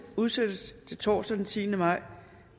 udsættes til torsdag den tiende maj